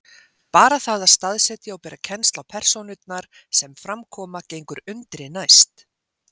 Bara það að staðsetja og bera kennsl á persónurnar sem fram koma gengur undri næst.